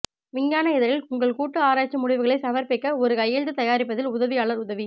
விஞ்ஞான இதழில் உங்கள் கூட்டு ஆராய்ச்சி முடிவுகளை சமர்ப்பிக்க ஒரு கையெழுத்து தயாரிப்பதில் உதவியாளர் உதவி